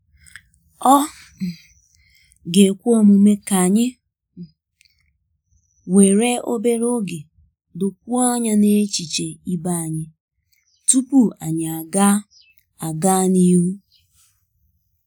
Ọ̀ um ga-ekwe omume ka anyị um were obere oge dokwuo anya n'echiche ibe anyị tupu anyị aga aga n'ihu?